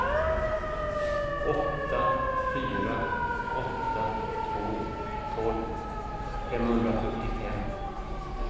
åtta fyra åtta två tolv femhundrafyrtiofem